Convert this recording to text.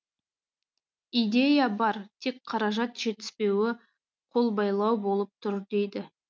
идея бар тек қаражат жетіспеуі қолбайлау болып тұр дейді